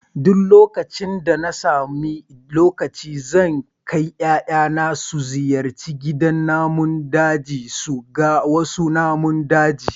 Duk lokacin da na sami lokaci zan kai 'ya'yana su ziyarci gidan namun daji su ga wasu namun daji